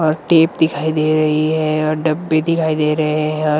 और टेप दिखाई दे रही है और डब्बे दिखाई दे रहे हैं और--